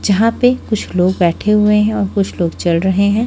जहाँ पे कुछ लोग बैठे हुए है और कुछ लोग चल रहे है।